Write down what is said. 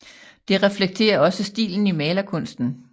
Det reflekterer også stilen i malerkunsten